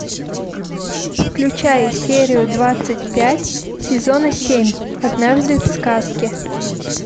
включай серию двадцать пять сезона семь однажды в сказке